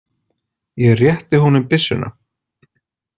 Ég rétti honum byssuna.